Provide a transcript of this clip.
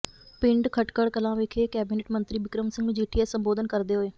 ਪਿੰਡ ਖਟਕੜ ਕਲਾਂ ਵਿਖੇ ਕੈਬਨਿਟ ਮੰਤਰੀ ਬਿਕਰਮ ਸਿੰਘ ਮਜੀਠੀਆ ਸੰਬੋਧਨ ਕਰਦੇ ਹੋਏ